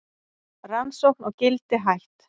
Rannsókn á Gildi hætt